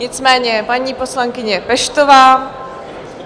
Nicméně paní poslankyně Peštová.